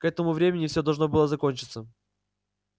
к этому времени всё должно было закончиться